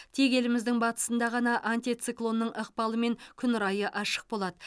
тек еліміздің батысында ғана антициклонның ықпалымен күн райы ашық болады